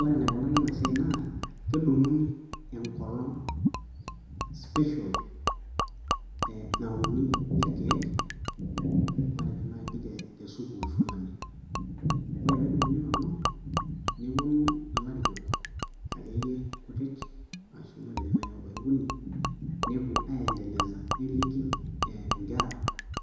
Ore enikunari ena siai naa kedung'uni enkolong speial nauni irkeek matejo naaji tesukuul fulani ore peedung'uni ina olong neponu ilarikok akeyie kutik ashu matejo naaji oobaya okuni nepuo aendeleza neliki inkera